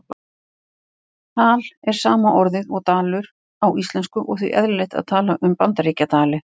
Tal er sama orðið og dalur á íslensku og því eðlilegt að tala um Bandaríkjadali.